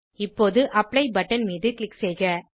இப்போது apply button மீது click செய்க